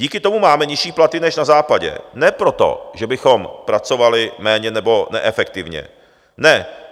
Díky tomu máme nižší platy než na Západě ne proto, že bychom pracovali méně nebo neefektivně, ne.